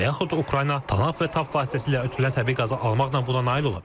Və yaxud Ukrayna TANAP və TAP vasitəsilə ötürülən təbii qazı almaqla buna nail ola bilər.